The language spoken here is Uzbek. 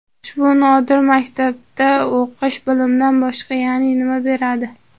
Ushbu nodir maktabda o‘qish, bilimdan boshqa yana nima beradi?